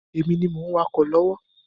Èmi ni mo ń wakọ̀ lọ́wọ́